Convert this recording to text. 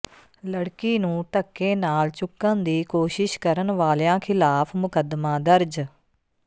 ਲੜਕੀ ਨੂੰ ਧੱਕੇ ਨਾਲ ਚੁੱਕਣ ਦੀ ਕੋਸ਼ਿਸ਼ ਕਰਨ ਵਾਲਿਆਂ ਿਖ਼ਲਾਫ਼ ਮੁਕੱਦਮਾ ਦਰਜ